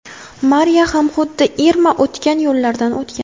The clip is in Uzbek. Mariya ham xuddi Irma o‘tgan yo‘llardan o‘tgan.